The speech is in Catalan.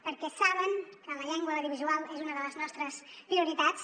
perquè saben que la llengua a l’audiovisual és una de les nostres prioritats